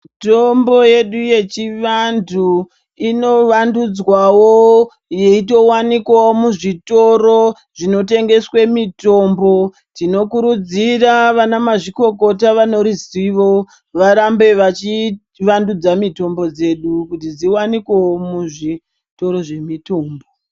Mitombo yedu yechivantu inovandudzwawo yeitowanikwawo muzvitoro zvinotengeswe mitombo. Tinokurudzira vanamazvikokota vane ruzivo varambe vachivandudza mitombo dzedu kuti dziwanikowo muzvitoro zvemutombo.